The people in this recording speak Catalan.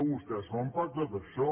vostès no han pactat això